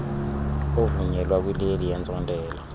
ovunyelwa kwileli yentsontela